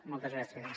moltes gràcies